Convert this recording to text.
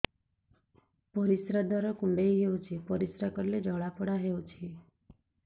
ପରିଶ୍ରା ଦ୍ୱାର କୁଣ୍ଡେଇ ହେଉଚି ପରିଶ୍ରା କଲେ ଜଳାପୋଡା ହେଉଛି